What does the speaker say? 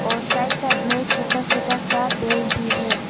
और side side में छोटा छोटा सा पेड़ भी है।